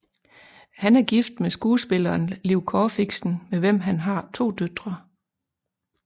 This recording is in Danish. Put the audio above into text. Han er gift med skuespilleren Liv Corfixen med hvem han har to døtre